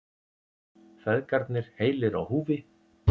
Feðgarnir heilir á húfi